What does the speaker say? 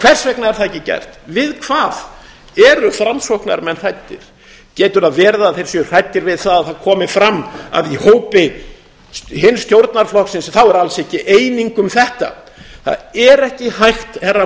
hvers vegna er það ekki gert við hvað eru framsóknarmenn hræddir getur það verið að þeir séu hræddir við það að það komi fram að í hópi hins stjórnarflokksins er alls ekki eining um þetta það er ekki hægt herra